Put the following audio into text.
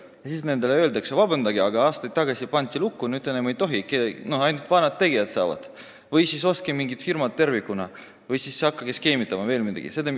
Kas me siis ütleme nendele, et palun vabandust, aga aastaid tagasi pandi see lukku, teie enam ei tohi tegeleda, ainult vanad tegijad saavad või et ostke mingid firmad tervikuna, hakake skeemitama vms?